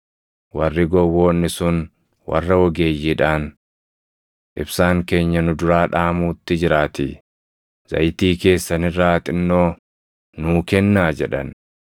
Warri gowwoonni sun warra ogeeyyiidhaan, ‘Ibsaan keenya nu duraa dhaamuutti jiraatii zayitii keessan irraa xinnoo nuu kennaa’ jedhan.